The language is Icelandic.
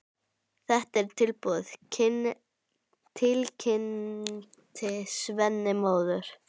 Þetta er tilbúið, tilkynnti Svenni móður.